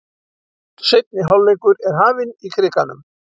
Seinni hálfleikur er hafinn í Krikanum